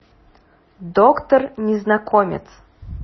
доктор незнакомец